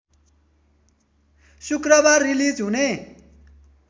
शुक्रबार रिलिज हुने